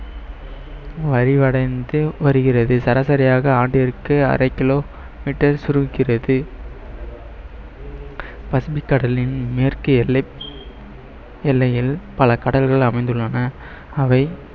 வலுவடைந்து வருகிறது சராசரியாக ஆண்டிற்கு அரை kilometer சுருக்கிறது பசுமைக் கடலின் மேற்கு எல்லை எல்லையில் பல கடல்கள் அமைந்துள்ளன அவை